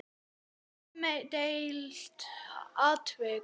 Umdeilt atvik?